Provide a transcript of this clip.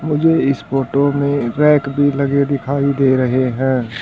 मुझे इस फोटो में रैक भी लगे दिखाई दे रहे हैं।